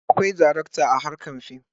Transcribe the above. Akwai darakta a harkar fim.